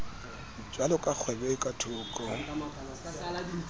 jwaloka kgwebo e ka thoko